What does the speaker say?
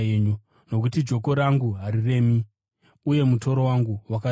Nokuti joko rangu hariremi uye mutoro wangu wakareruka.”